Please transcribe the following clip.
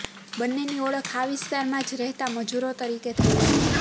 બંનેની ઓળખ આ વિસ્તારમાં જ રહેતા મજૂરો તરીકે થઈ હતી